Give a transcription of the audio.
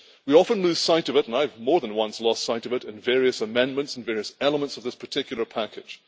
We often lose sight of it, and I have more than once lost sight of it, in various amendments, in various elements of this particular package.